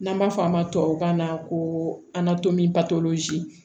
N'an b'a fɔ a ma tubabu kan na ko